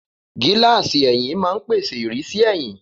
Gíláàsì ẹ̀yìn máa ń pèsè ìrísí ẹ̀yìn.